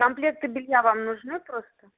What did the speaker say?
комплекты белья вам нужны просто